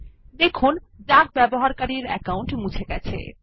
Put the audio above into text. দেখুন ডাক ব্যবহারকারীর অ্যাকাউন্ট মুছে গেছে